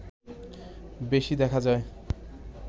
বেশি দেখা যায়